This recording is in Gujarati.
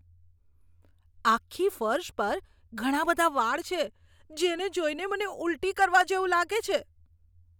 આખી ફર્શ પર ઘણા બધા વાળ છે. તેને જોઈને મને ઊલટી કરવા જેવું લાગે છે.